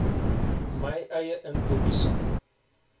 my eie inkopiesak